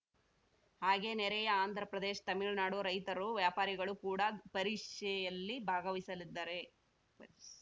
ಹಾಗೇ ನೆರೆಯ ಆಂಧ್ರಪ್ರದೇಶ್ ತಮಿಳುನಾಡು ರೈತರು ವ್ಯಾಪಾರಿಗಳು ಕೂಡ ಪರಿಷೆಯಲ್ಲಿ ಭಾಗವಹಿಸಲಿದ್ದಾರೆ ಪರಿಷ್